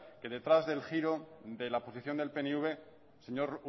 que detrás del giro de la posición del pnv señor